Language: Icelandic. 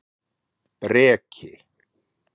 Breki